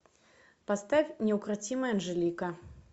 поставь неукротимая анжелика